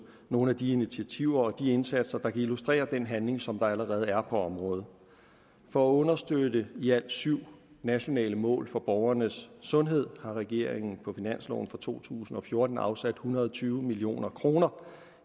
nogle af de initiativer og de indsatser der kan illustrere den handling som der allerede er på området for at understøtte i alt syv nationale mål for borgernes sundhed har regeringen på finansloven for to tusind og fjorten afsat en hundrede og tyve million kroner